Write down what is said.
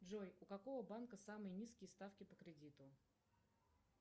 джой у какого банка самые низкие ставки по кредиту